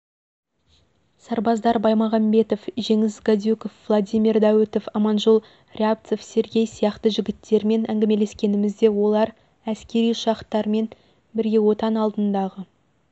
сарбаздар баймағамбетов жеңіс гадюков владимир дәуітов аманжол рябцов сергей сияқты жігіттермен әңгімелескенімізде олар әскери ұшақтамен бірге отан алдындағы